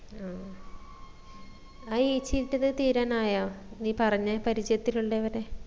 ആ ആ ഏച്ചിന്റേത് തീരാനായ നീ പറഞ്ഞ പരിചയത്തിൽ ഉള്ളവര്